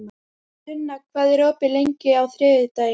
Sunna, hvað er opið lengi á þriðjudaginn?